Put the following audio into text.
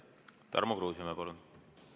Tarmo Kruusimäe, palun!